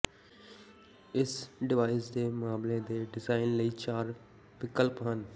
ਇਸ ਡਿਵਾਈਸ ਦੇ ਮਾਮਲੇ ਦੇ ਡਿਜ਼ਾਈਨ ਲਈ ਚਾਰ ਵਿਕਲਪ ਹਨ